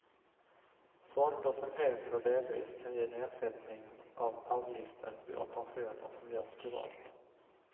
Fonder som helt eller delvis kan ge nedsättning av avgiften vid operationer som görs privat.